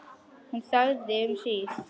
Hún þagði um hríð.